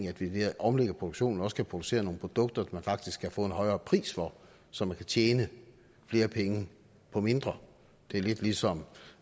at vi ved at omlægge produktionen også kan producere nogle produkter man faktisk kan få en højere pris for så man kan tjene flere penge på mindre det er lidt som